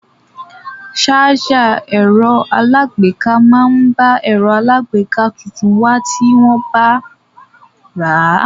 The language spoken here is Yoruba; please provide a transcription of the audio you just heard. Sájà ẹ̀rọ aláàgbéká máa ń bá ẹ̀rọ aláàgbéká tuntun wá tí wọ́n bá rà á.